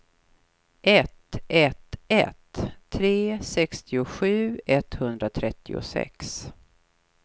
ett ett ett tre sextiosju etthundratrettiosex